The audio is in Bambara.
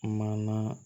Mana